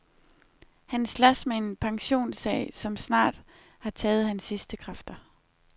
Han slås med en pensionssag, som snart har taget hans sidste kræfter.